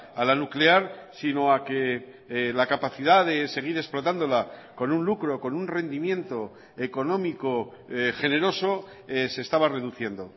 a la nuclear sino a que la capacidad de seguir explotándola con un lucro con un rendimiento económico generoso se estaba reduciendo